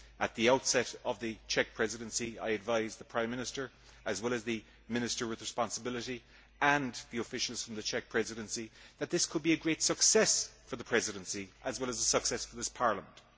At the outset of the Czech Presidency, I advised the Prime Minister, as well as the minister with responsibility and the officials from the Czech Presidency, that this could be a great success for the Presidency as well as a success for this Parliament.